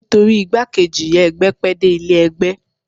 Nítorí igbákejì ìyá ẹgbẹ́ pẹ́ dé ilé ẹgbẹ́